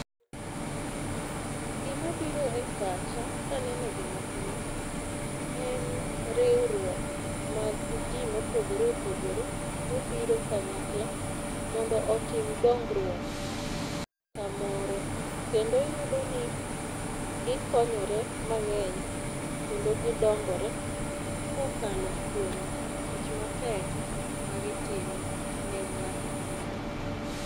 gima biro e pacha kaneno gima kama en riwruok mag jii mopogore opogore mobiro kanyakla mondo otim dongruok kamoro, kendo iyudo ni gikonyore mang'eny kendo gidongore kokalo kuom tich matek ma gitimo ne ng'ato ka ng'ato.